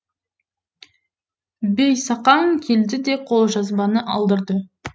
бейсақаң келді де қолжазбаны алдырды